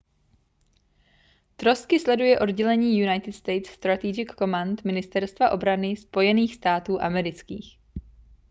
trosky sleduje oddělení united states strategic command ministerstva obrany spojených států amerických